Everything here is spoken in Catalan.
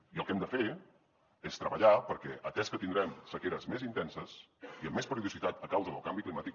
i el que hem de fer és treballar perquè atès que tindrem sequeres més intenses i amb més periodicitat a causa del canvi climàtic